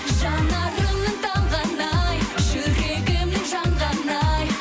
жанарымның талғаны ай жүрегімнің жанғаны ай